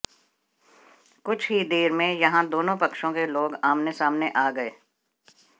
कुछ ही देर में यहां दोनों पक्षों के लोग आमने सामने आ गए